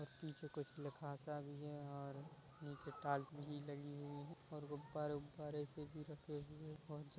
पीछे कुछ लिखा सा भी है और नीचे टाइल्स भी लगी हुई है और गुब्बारे उबारे भी रखे हुए--